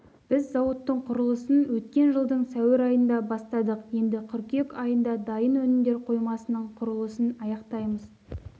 біз зауыттың құрылысын өткен жылдың сәуір айында бастадық енді қыркүйек айында дайын өнімдер қоймасының құрылысын аяқтаймыз